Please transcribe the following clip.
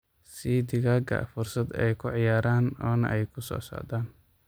Sii digaaga fursad ay ku ciyaaraan oona ay ku soc-socdaan.